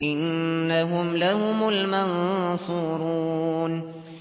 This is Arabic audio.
إِنَّهُمْ لَهُمُ الْمَنصُورُونَ